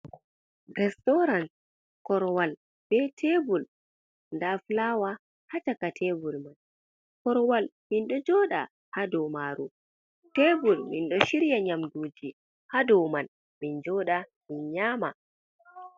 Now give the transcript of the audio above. Restaran korwal, be tebul, nda aflawa ha caka tebul man, korwal minɗo joɗa ha dou maru, tebul min ɗo shirya nyamduji ha dou man min joɗa, min nyama.